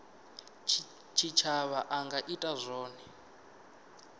tshitshavha a nga ita zwone